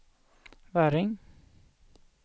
Väring